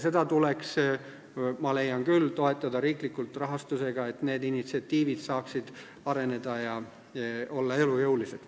Seda tuleks, ma leian küll, toetada riikliku rahastusega, et sellised initsiatiivid saaksid areneda ja olla elujõulised.